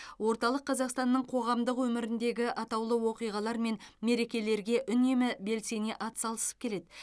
орталық қазақстанның қоғамдық өміріндегі атаулы оқиғалар мен мерекелерге үнемі белсене атсалысып келеді